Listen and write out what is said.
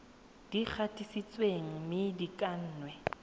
di gatisitsweng mme di kannwe